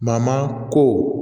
ko